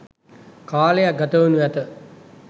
කාලයක් ගතවෙනු ඇත